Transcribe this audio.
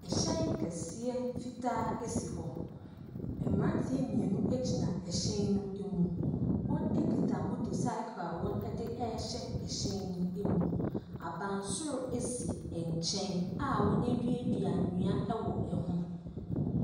Hyɛn kɛseɛ fitaa si hɔ, mmeranteɛ mmienu gyina hyɛn no mu, wɔkita motocycle a wɔde rehyɛ hyɛn ne mu. Abansoro si nkyɛn a wɔaduadua nnua wɔ ho.